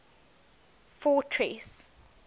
fortress